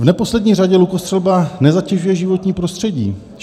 "V neposlední řadě lukostřelba nezatěžuje životní prostředí.